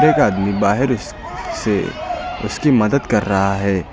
एक आदमी बाहर स से उसकी मदद कर रहा है।